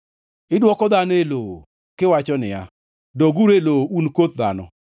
Idwoko dhano e lowo, kiwacho niya, “Doguru e lowo un koth dhano.”